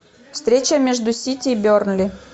встреча между сити и бернли